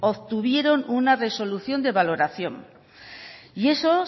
obtuvieron una resolución de valoración y eso